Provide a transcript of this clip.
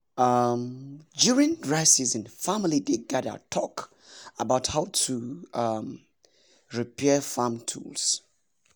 um during dry season family dey gather talk about how to um repair farm tools.